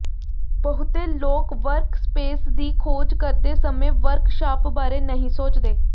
ਬਹੁਤੇ ਲੋਕ ਵਰਕਸਪੇਸ ਦੀ ਖੋਜ ਕਰਦੇ ਸਮੇਂ ਵਰਕਸ਼ਾਪ ਬਾਰੇ ਨਹੀਂ ਸੋਚਦੇ